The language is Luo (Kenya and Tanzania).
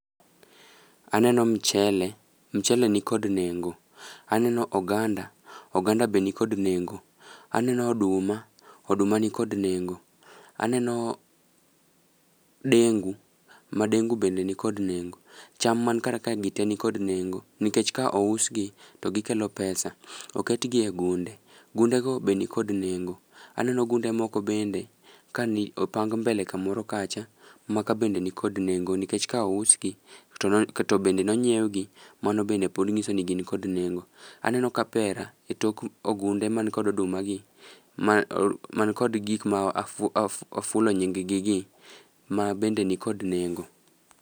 Aneno mchele, mchele ni kod nengo. Aneno oganda, oganda be nikod nengo. Aneno oduma, oduma ni kod nengo. Aneno dengu, ma dengu bende nikod nengo. Cham man kar kae gi te nikod nengo, nikech ka ous gi, to gikelo pesa. Oket gi e gunde, gunde go be nikod nengo. Aneno gunde moko bende, ka ni opng mbele kamoro kacha. Maka be nikod nengo nikech ka ous gi to no to bende nonyiew gi, mano bende pod ng'iso ni gin kod nengo. Aneno kapera e tok ogunde man kod oduma gi, ma man kod gik ma oa of afulo nying gi gi, ma bende ni kod nengo.